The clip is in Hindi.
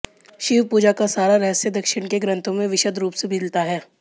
शिव पूजा का सारा रहस्य दक्षिण के ग्रन्थों में विशद् रूप से मिलता है